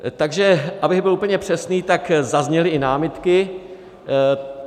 Takže abych byl úplně přesný, tak zazněly i námitky.